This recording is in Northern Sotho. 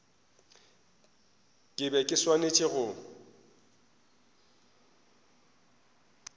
ke be ke swanetše go